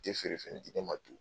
feere fɛn ye